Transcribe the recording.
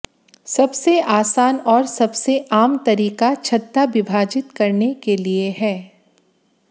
सबसे आसान और सबसे आम तरीका छत्ता विभाजित करने के लिए है